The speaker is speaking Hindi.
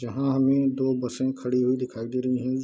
जहाँ हमें दो बसें खड़ी हुई दिखाई दे रहीं हैं।